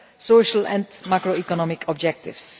social and macro economic objectives.